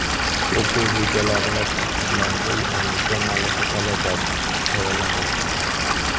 O‘quv rejalari va dasturlariga yangicha malaka talablari tayyorlanmoqda.